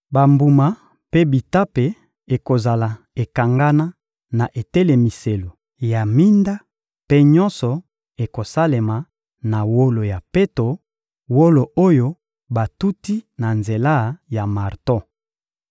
Bambuma mpe bitape ekozala ekangana na etelemiselo ya minda; mpe nyonso ekosalema na wolo ya peto, wolo oyo batuti na nzela ya marto.